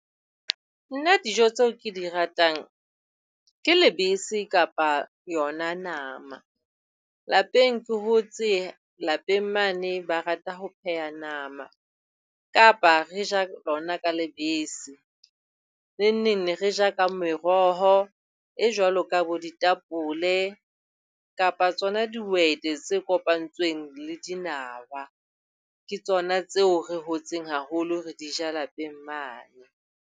Nna dijo tseo ke di ratang ke lebese kapa yona nama. Lapeng ke hotse lapeng mane ba rata ho pheha nama kapa re ja lona ka lebese. Neng neng re ne re ja ka meroho e jwalo ka bo ditapole kapa tsona dihwete tse kopantsweng le dinawa. Ke tsona tseo re hotseng haholo re di ja lapeng mane.